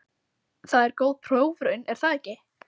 Það er góð prófraun, er það ekki?